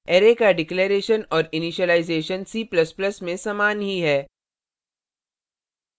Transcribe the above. array का declaration और initialization c ++ में समान ही है